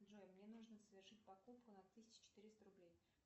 джой мне нужно совершить покупку на тысячу четыреста рублей